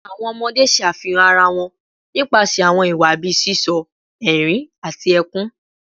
Awọn ọmọde ṣe afihan ara wọn nipasẹ awọn iwa bii sisọ, ẹrin, ati ẹkun